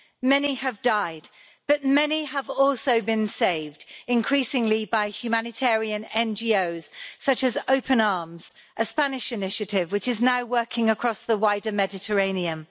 Many have died, but many have also been saved increasingly by humanitarian NGOs such as Open Arms, a Spanish initiative which is now working across the wider Mediterranean.